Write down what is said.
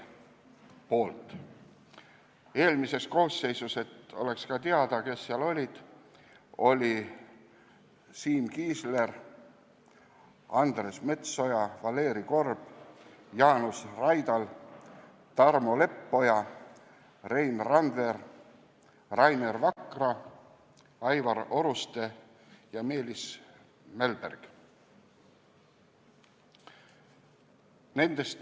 Eelmises koosseisus – et oleks teada, kes seal olid – olid seal Siim Kiisler, Andres Metsoja, Valeri Korb, Jaanus Raidal, Tarmo Leppoja, Rein Randver, Rainer Vakra, Aivar Oruste ja Meelis Mälberg.